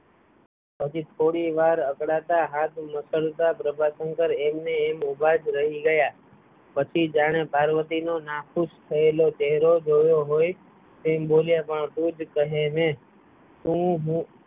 પછી થોડી વાર અકળાતા હાથ મૂકતા પ્રભાશંકર એમ ને એમ ઊભા જ રહી ગયાં પછી જાણે પાર્વતી નો નાખુશ થયેલો ચહેરો જોયો હોય એમ બોલ્યાં તુ જ કહે ને તો હું